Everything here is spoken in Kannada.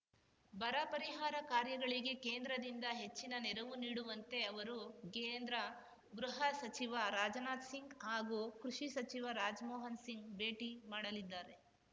ಬರ ಪರಿಹಾರ ಕಾರ್ಯಗಳಿಗೆ ಕೇಂದ್ರದಿಂದ ಹೆಚ್ಚಿನ ನೆರವು ನೀಡುವಂತೆ ಅವರು ಕೇಂದ್ರ ಗೃಹ ಸಚಿವ ರಾಜನಾಥ್ ಸಿಂಗ್ ಹಾಗೂ ಕೃಷಿ ಸಚಿವ ರಾಜ್ ಮೋಹನ್ ಸಿಂಗ್ ಭೇಟಿ ಮಾಡಲಿದ್ದಾರೆ